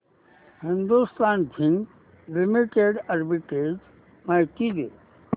Hindustan zinc limited arbitrage माहिती दे